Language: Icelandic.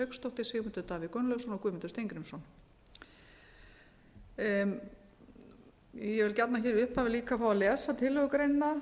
hauksdóttir sigmundur davíð gunnlaugsson og guðmundur steingrímsson ég vil gjarnan í upphafi fá að lesa tillögugreinina